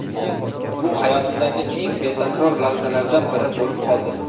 Bu hayotimdagi eng betakror lahzalardan biri bo‘lib qoldi.